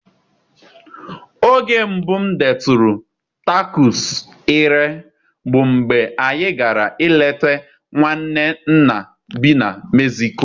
Oge mbụ m detụrụ takọs ire bụ mgbe anyị gara ileta nwanne nna bi na Meziko.